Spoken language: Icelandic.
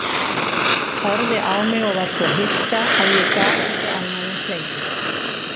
Horfði á mig og var svo hissa að ég gat ekki annað en hlegið.